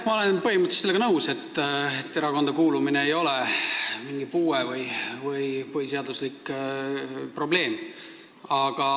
Ma olen põhimõtteliselt sellega nõus, et erakonda kuulumine ei ole mingi puue või põhiseaduslik probleem.